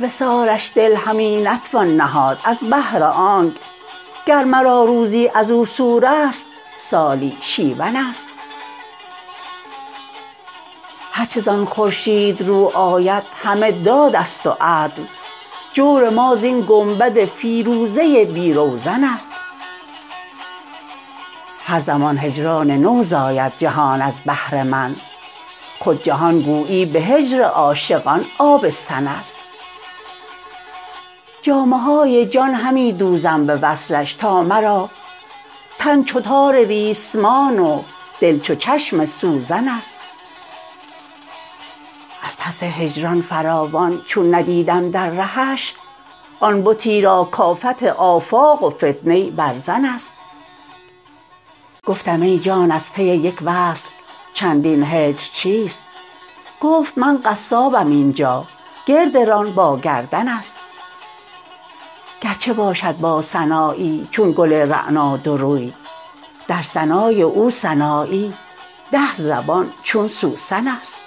بر وصالش دل همی نتوان نهاد از بهر آنک گر مرا روزی ازو سورست سالی شیون است هر چه زان خورشید رو آید همه دادست و عدل جور ما زین گنبد فیروزه بی روزن است هر زمان هجران نو زاید جهان از بهر من خود جهان گویی به هجر عاشقان آبستن است جامه های جان همی دوزم ز وصلش تا مرا تن چو تار ریسمان و دل چو چشم سوزن است از پس هجران فراوان چون ندیدم در رهش آن بتی را کافت آفاق و فتنه برزن است گفتم ای جان از پی یک وصل چندین هجر چیست گفت من قصابم اینجا گرد ران با گردن است گرچه باشد با سنایی چون گل رعنا دو روی در ثنای او سنایی ده زبان چون سوسن است